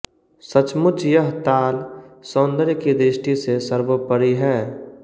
सचमुच यह ताल सौन्दर्य की दृष्टि से सर्वोपरि है